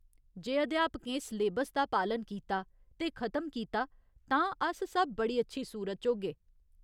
जे अध्यापकें सलेबस दा पालन कीता ते खतम कीता तां अस सब बड़ी अच्छी सूरत च होगे।